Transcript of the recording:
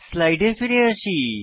স্লাইডে ফিরে আসি